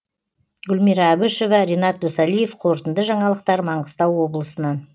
гүлмира әбішева ренат досалиев қорытынды жаңалықтар маңғыстау облысынан